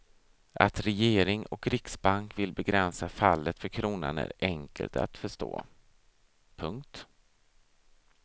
Att regering och riksbank vill begränsa fallet för kronan är enkelt att förstå. punkt